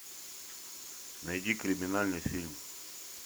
найди криминальный фильм